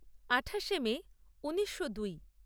আঠাশে মে ঊনিশো দুই